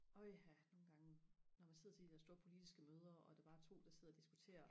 åha nogen gange når man sidder til de der store politiske møder og der bare er to der sidder og diskuterer